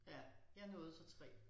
Ja jeg nåede så 3